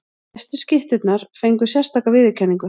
Bestu skytturnar fengu sérstaka viðurkenningu.